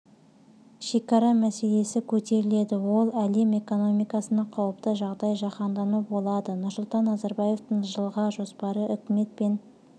шекара мәселесі көтеріледі ол әлем экономикасына қауіпті қандай жаһандану болады нұрсұлтан назарбаевтың жылға жоспары үкімет пен